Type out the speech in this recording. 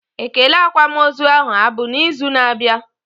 Ekele akwamozu ahụ abụ na izu na abịa?